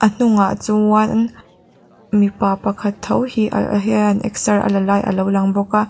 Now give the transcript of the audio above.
a hnungah chuan mipa pakhat tho hi a a hian eksar a la lai alo lang bawk.